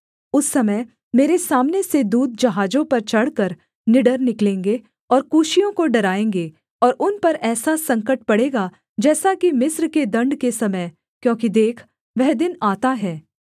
उस समय मेरे सामने से दूत जहाजों पर चढ़कर निडर निकलेंगे और कूशियों को डराएँगे और उन पर ऐसा संकट पड़ेगा जैसा कि मिस्र के दण्ड के समय क्योंकि देख वह दिन आता है